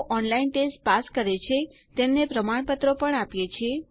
જેઓ online test pass કરે છે તેમને પ્રમાણપત્રો પણ આપીએ છીએ